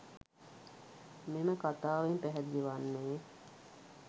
මෙම කතාවෙන් පැහැදිලි වන්නේ